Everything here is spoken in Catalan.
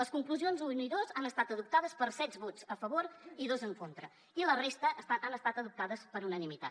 les conclusions un i dos han estat adoptades per set vots a favor i dos en contra i la resta han estat adoptades per unanimitat